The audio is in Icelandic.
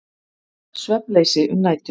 Svefnleysi um nætur.